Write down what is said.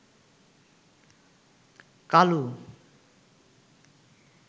Kalu